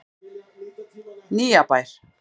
Nýjabæ